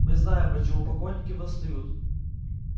мы знаем почему покойники восстают